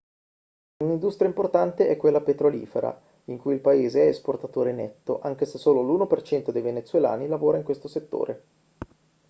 un'industria importante è quella petrolifera in cui il paese è esportatore netto anche se solo l'1% dei venezuelani lavora in questo settore